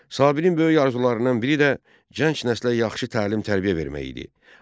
Sabirin böyük arzularından biri də gənc nəslə yaxşı təlim-tərbiyə vermək idi.